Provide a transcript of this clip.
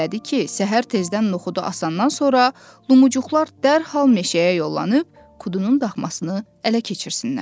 səhər tezdən Noxudu asandan sonra Lumucuqlar dərhal meşəyə yollanıb, Kudunun daxmasını ələ keçirsinlər.